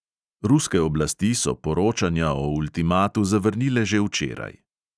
Ruske oblasti so poročanja o ultimatu zavrnile že včeraj.